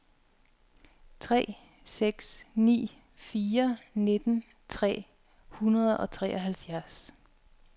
tre seks ni fire nitten tre hundrede og treoghalvfjerds